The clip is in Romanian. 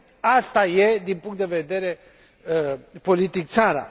Asta e, din punct de vedere politic, țara!